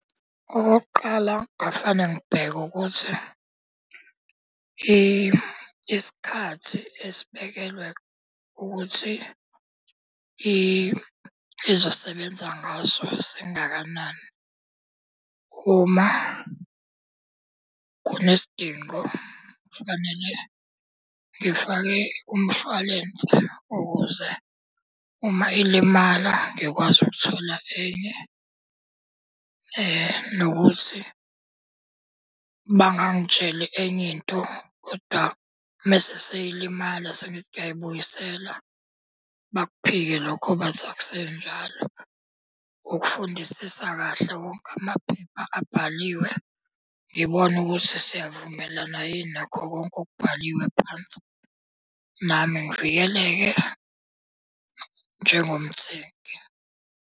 Okokuqala ngafaneke ngibheke ukuthi isikhathi esibekelwe ukuthi izosebenza ngaso singakanani. Uma kunesidingo kufanele ngifake umshwalense ukuze uma ilimala ngikwazi ukuthola enye. Nokuthi bangangitsheli enye into kodwa, uma seyilimala sengithi ngiyayibuyisela bakuphike lokho bathi akusenjalo. Ukufundisisa kahle wonke amaphepha abhaliwe, ngibone ukuthi siyavumelana yini nakho konke okubhaliwe phansi. Nami ngivikeleke njengomthengi.